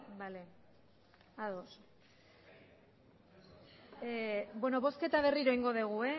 bale ados beno bozketa berriro egingo dugu